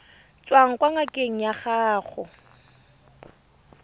tswang kwa ngakeng ya gago